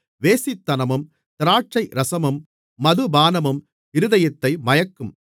வேசித்தனமும் திராட்சைரசமும் மதுபானமும் இருதயத்தை மயக்கும்